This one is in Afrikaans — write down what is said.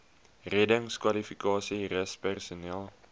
reddingskwalifikasies rus personeel